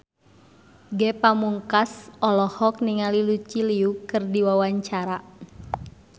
Ge Pamungkas olohok ningali Lucy Liu keur diwawancara